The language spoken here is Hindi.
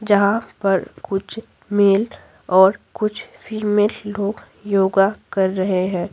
जहाँ पर कुछ मेल और कुछ फीमेल लोग योगा कर रहे हैं।